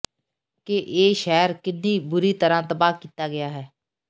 ਕਿ ਇਹ ਸ਼ਹਿਰ ਕਿੰਨੀ ਬੁਰੀ ਤਰ੍ਹਾਂ ਤਬਾਹ ਕੀਤਾ ਗਿਆ